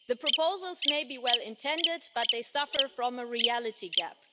The proposals may be well intended, but they suffer from a reality gap.